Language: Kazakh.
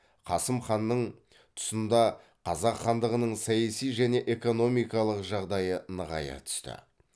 қасым ханның тұсында қазақ хандығының саяси және экономикалық жағдайы нығая түсті